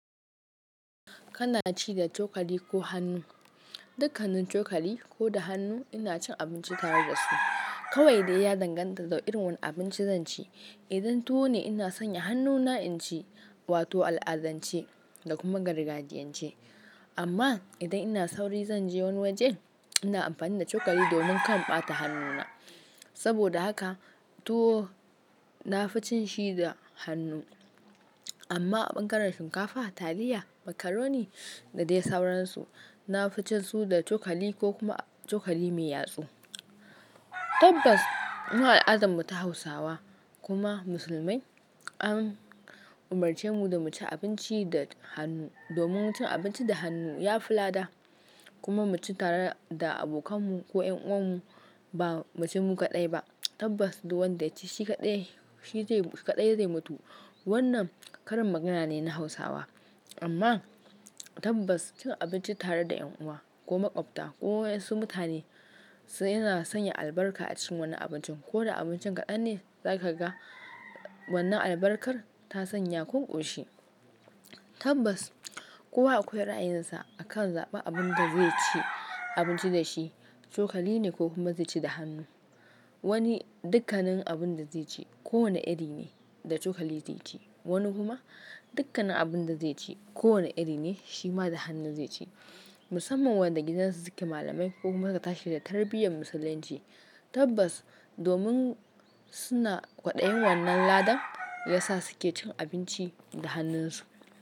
Kana ci da cokali ko hannu? Dukkanin cokali ko da hannu ina cin abinci tare da su. Kawai da ya danganta da irin wani abinci zan ci. Idan tuwo ne ina sanya hannuna in ci wato al'adance da kuma gargajiyance. Amma idan ina sauri zan je wani waje, ina amfani da cokali domin kar in ɓata hannuna. Saboda haka tuwo na fi cin shi da hannu. Amma a ɓangaren shinkafa, taliya, macaroni da dai sauransu, na fi cin su da chokali ko kuma chokali mai yatsu. Tabbas, mu al'adammu ta Hausawa kuma musulmai an umarce mu da mu ci abinci da hannu. Domin cin abinci da hannu ya fi lada kuma mu ci tare da abokanmu ko ƴan uwanmu ba mu ci mu kaɗai ba. Tabbas, duk wanda ya ci shi kaɗai, shi zai kaɗai zai mutu. Wannan karin magana ne na Hausawa. Amma tabbas cin abinci tare da ƴan uwa ko maƙwabta ko wasu mutane suna sanya albarka a cikin wannan abincin. Koda abincin kaɗan ne za ka ga wannan albarkar ta sanya kunƙoshi. Tabbas, kowa akwai ra'ayinsa a kan zaɓa abin da zai ci abinci da shi, chokali ne ko kuma zai ci da hannu. Wani dukkanin abin da zai ci kowane iri ne da chokali zai ci. Wani kuma dukkanin abin da zai ci kowane iri ne shi ma da hannu zai ci. Musamman wanda gidan su suke malamai ko kuma suka tashi da tarbiyyar Musulunci. Tabbas, domin suna kwaɗayin wannan lada ya sa suke cin abinci da hannunsu.